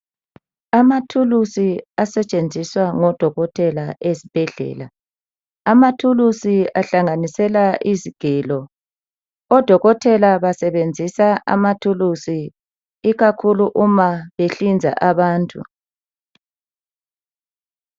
Amathulusi asetshenziswa ngodokotela esibhedlela amathulusi ahlanganisela izigelo, odokotela basebenzisa amathulusi ikakhulu uma behlinza abantu.